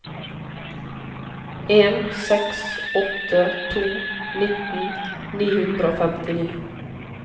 en seks åtte to nitten ni hundre og femtini